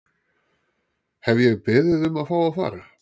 Hef ég beðið um að fá að fara?